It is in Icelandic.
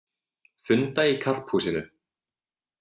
Funda í Karphúsinu